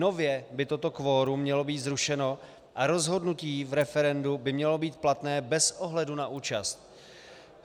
Nově by toto kvorum mělo být zrušeno a rozhodnutí v referendu by mělo být platné bez ohledu na účast.